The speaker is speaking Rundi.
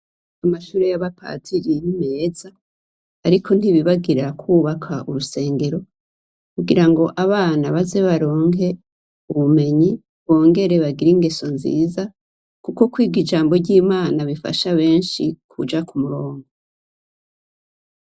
Amashure yabapaziriyemeza, ariko ntibibagirira kwubaka urusengero kugira ngo abana baze baronke ubumenyi bongere bagira ingeso nziza, kuko kwiga ijambo ry'imana bifasha benshi kuja ku murongo.